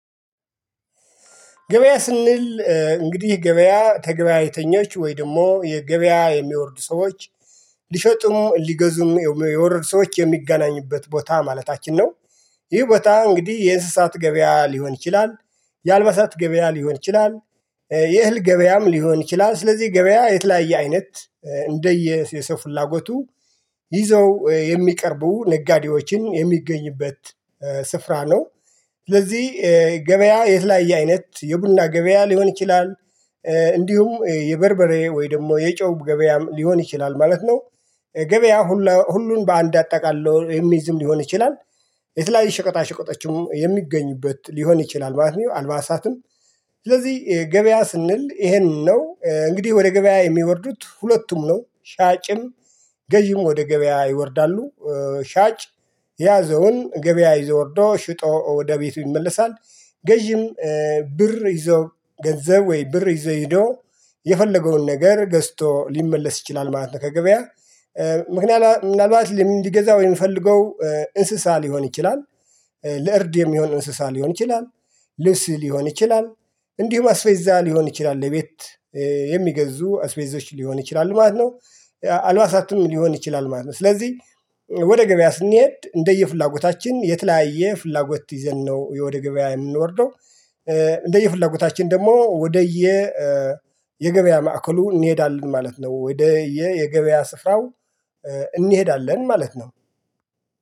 ገበያ ስንል እንግዲህ ገበያ ተገበያተኞች ወይ ደግሞ የገበያ የሚወርዱ ሰዎች ሊሸጡም ሊገዙም የወረዱ ሰዎች የሚገናኙበት ቦታ ማለታችን ነው። ይህ ቦታ እንግዲህ የእንስሳት ገበያ ሊሆን ይችላል። የአልባሳት ገበያ ሊሆን ይችላል እ የእህል ገበያም ሊሆን ይችላል ስለዚህ ገበያ የተለያየ አይነት እንደየ የሰው ፍላጎቱ ይዘው የሚቀርቡ ነጋዴዎችን የሚገኝበት ስፍራ ነው። ስለዚህ እ ገበያ የተለያየ አይነት የቡና ገበያ ሊሆን ይችላል እ እንዲሁም እ የበርበሬ ወይ ደግሞ የጨው ገበያም ሊሆን ይችላል ማለት ነው። እ ገበያ ሁሉ ሁሉን በአንድ አጠቃሎ የሚይዝም ሊሆን ይችላል። የተለያየ ሸቀጣ ሸቀጦችም የሚገኙበት ሊሆን ይችላል ማለት ነው። አልባሳትም ስለዚህ እ ገበያ ስንል ይሄንን ነው እንግዲህ ወደ ገበያ የሚወርዱት ሁለቱም ነው ሻጭም ገዢም ወደ ገበያ ይወርዳሉ። እ ሻጭ የያዘውን ገበያ ይዘው ወርዶ ሽጦ ወደ ቤቱ ይመለሳል። ገዢም እ ብር ይዞ ገንዘብ ወይ ብር ይዞ ሄዶ የፈለገውን ነገር ገዝቶ ሊመለስ ይችላል ማለት ነው። ከገበያ እ ምክንያላት ምናልባት ለሚገዛው የሚፈልገው እንስሳ ሊሆን ይችላል። ለእርድ የሚሆን እንስሳ ሊሆን ይችላል። ልብስ ሊሆን ይችላል። እንዲሁም አስቤዛ ሊሆን ይችላል የቤት የሚገዙ አስቤዞች ሊሆኑ ይችላሉ ማለት ነው። አልባሳቱም ሊሆን ይችላል ማለት ነው። ስለዚህ እ ወደ ገበያ ስንሄድ እንደየፍላጎታችን የተለያየ ፍላጎት ይዘን ነው የወደ ገበያ የምንወርደው እ እንደየ ፍላጎታችን ደግሞ ወደየ የገበያ ማዕከሉ እንሄዳለን ማለት ነው። ወደየ የገበያ ስፍራው እ እንሄዳለን ማለት ነው።